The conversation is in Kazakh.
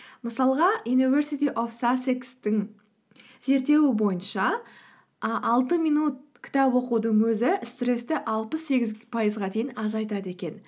мысалға юниверсити оф сассекстің зерттеуі бойынша ы алты минут кітап оқудың өзі стрессті аспыс сегіз пайызға дейін азайтады екен